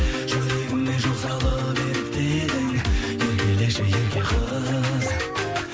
жүрегіме жол салып ерітпедің еркелеші ерке қыз